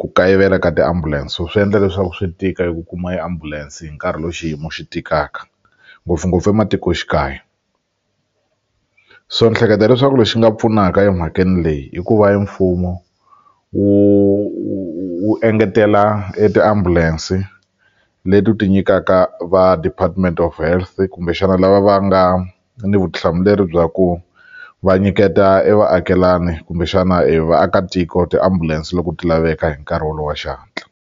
ku kayivela ka tiambulense so swi endla leswaku swi tika eku kuma ambulance hi nkarhi lowu xiyimo xi tikaka ngopfungopfu ematikoxikaya so ni hleketa leswaku lexi nga pfunaka emhakeni leyi i ku va e mfumo wu wu wu engetela e ti-ambulance leti wu ti nyikaka va Department of Health kumbexana lava va nga ni vutihlamuleri bya ku va nyiketa e vaakelani kumbexana e vaakatiko ti-ambulance loko ti laveka hi nkarhi wolowo wa xihatla.